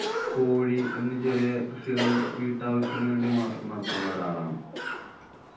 കോഴി, എന്ന് ചെറിയ കൃഷികളും വീട്ടാവശ്യത്തിനു വേണ്ടി മാത്രം നടത്തുന്നൊരാളാണ്.